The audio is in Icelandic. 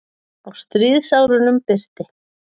Á stríðsárunum birti